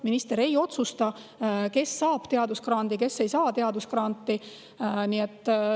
Minister ei otsusta, kes saab teadusgrandi ja kes ei saa teadusgranti.